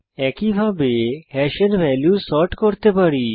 একইভাবে হ্যাশের value sort করতে পারি